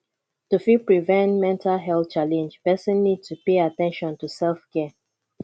to fit prevent mental health challenge person need to pay at ten tion to self care